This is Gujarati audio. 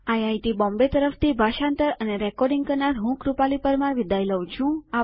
આઈઆઈટી બોમ્બે તરફથી ભાષાંતર અને રેકોર્ડીંગ કરનાર હું કૃપાલી પરમાર વિદાય લઉં છું